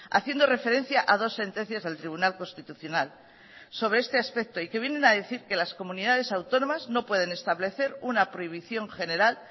haciendo referencia a dos sentencias del tribunal constitucional sobre este aspecto y que vienen a decir que las comunidades autónomas no pueden establecer una prohibición general